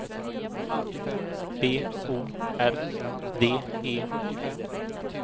B O R D E